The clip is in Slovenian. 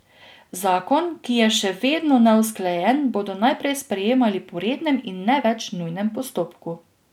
Zakon, ki je še vedno neusklajen, bodo naprej sprejemali po rednem, in ne več nujnem postopku.